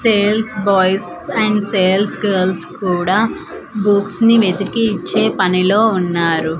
Sales boys and sales girls కూడా books ని వెతికి ఇచ్చే పనిలో ఉన్నారు.